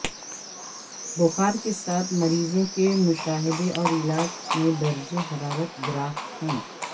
بخار کے ساتھ مریضوں کے مشاہدے اور علاج میں درجہ حرارت گراف ہے